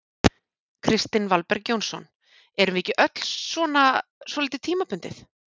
Kristinn Valberg Jónsson: Erum við ekki öll svona svolítið tímabundið?